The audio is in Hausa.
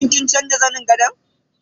Shin kin canza zanin gadon?